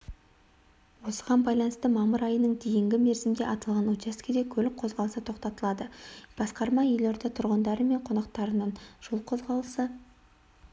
осыған байланыстымамырайының дейінгі мерзімде аталған учаскеде көлік қозғалысы тоқтатылады басқарма елорда тұрғындары мен қонақтарынан жол қозғалысы